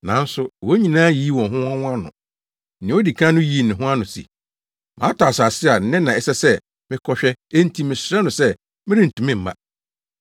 “Nanso, wɔn nyinaa yiyii wɔn ho ano. Nea odi kan no yii ne ho ano se, ‘Matɔ asase a nnɛ na ɛsɛ sɛ mekɔhwɛ enti mesrɛ no sɛ merentumi mma.’